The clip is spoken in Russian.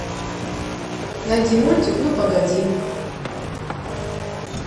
найди мультик ну погоди